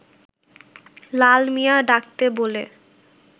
লাল মিয়া ডাকতে বলে